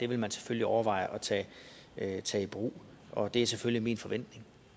vil man selvfølgelig overveje at tage i brug og det er selvfølgelig min forventning